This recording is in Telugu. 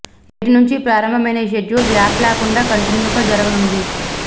నేటి నుంచి ప్రారంభమైన ఈ షెడ్యూల్ గ్యాప్ లేకుండా కంటిన్యూగా జరగనుంది